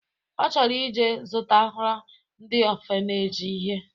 Ọ chọrọ ije zụtara ndị ọfaneji ihe